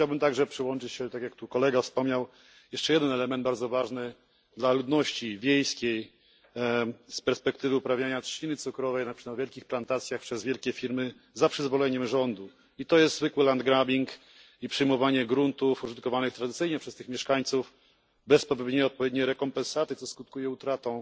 Chciałbym także nadmienić, tak jak tu kolega już wspomniał, o jeszcze jednym elemencie, bardzo ważnym dla ludności wiejskiej, z perspektywy uprawiania trzciny cukrowej na wielkich plantacjach przez wielkie firmy za przyzwoleniem rządu to jest zwykły land grabbing i przejmowanie gruntów użytkowanych tradycyjnie przez tych mieszkańców bez zapewnienia odpowiedniej rekompensaty, co skutkuje utratą